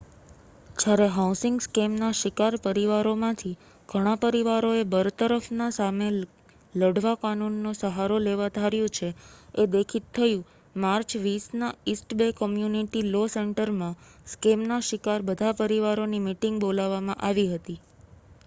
જયારે હાઉસિંગ સ્કેમના શિકાર પરિવારોમાંથી ઘણા પરિવારોએ બરતરફના સામે લઢવા કાનૂન નો સહારો લેવા ધાર્યું છે એ દેખિત થયુ માર્ચ 20ના ઇસ્ટ બે કમ્યુનિટી લૉ સેન્ટરમાં સ્કેમ ના શિકાર બધા પરિવારોની મિટિંગ બોલાવામાં આવી હતી